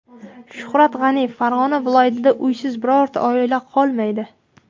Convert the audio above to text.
Shuhrat G‘aniyev: Farg‘ona viloyatida uysiz birorta oila qolmaydi.